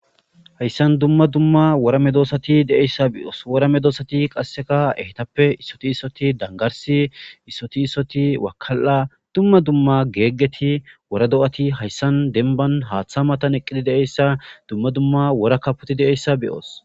Hayisan dumma dumma wora me doosati de'eyssa beyoos wora medoosati qasseka ehtappe issoti issoti dangarsi issoti issoti wakal'a dumma dumma geeggeti wora do'ati hayssan denban haaththa matan eqqidi de'eyssa dumma dumma wora kapoti de'eyssa beyoos